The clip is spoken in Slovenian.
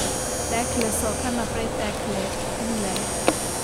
Tekle so, kar naprej tekle, lile.